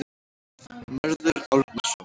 Mörður Árnason.